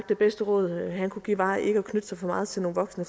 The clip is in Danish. det bedste råd han kunne give var ikke at knytte sig for meget til nogle voksne